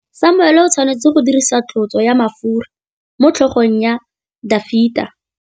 Samuele o tshwanetse go dirisa tlotsô ya mafura motlhôgong ya Dafita.